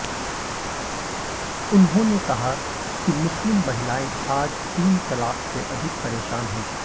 उन्होंने कहा कि मुस्लिम महिलायें आज तीन तलाक से अधिक परेशान है